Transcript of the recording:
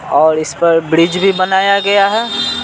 और इस पर ब्रिज भी बनाया गया है।